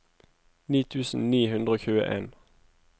ni tusen ni hundre og tjueen